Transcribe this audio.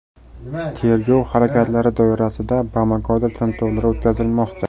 Tergov harakatlari doirasida Bamakoda tintuvlar o‘tkazilmoqda.